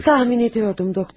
Təxmin edirdim, doktor.